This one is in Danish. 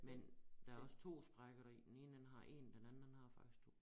Men der også 2 sprækker deri den ene den har én den anden den har faktisk 2